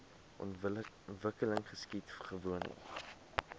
ontwikkeling geskied gewoonlik